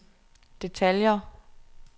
detaljer